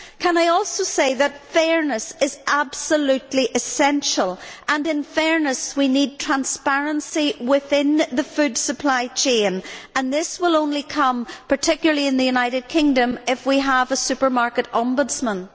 I would also say that fairness is absolutely essential, and in fairness we need transparency within the food supply chain. This will only come, particularly in the United Kingdom, if we have a supermarket ombudsman.